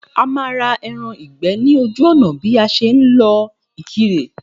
A má ra ẹran ìgbẹ́ ní ojú ònà bí a ṣe ń lọ Ìkirè